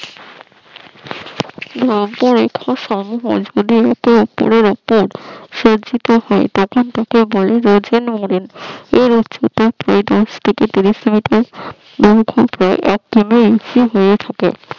উপরের একটা সজ্জিত হয় তখন তখন তাকে বলে ওজন রমেন । এর উচ্চতা প্রায় দু স থেকে দৈর্ঘ্য প্রায় এক ইঞ্চি হয়ে থাকে